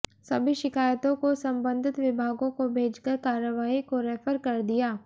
सभी शिकायतों को संबंधित विभागों को भेजकर कार्रवाई को रेफर कर दिया